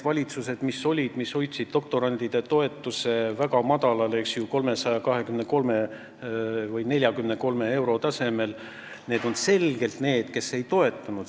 Valitsused, mis hoidsid doktorantide toetuse väga madalal, 323 või 343 euro tasemel, on selgelt need, kes seda ei toetanud.